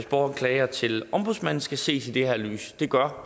borgeren klager til ombudsmanden skal ses i det her lys det gør